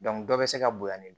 dɔ bɛ se ka bonya ni